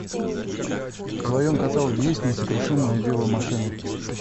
в твоем каталоге есть несокрушимая дева машина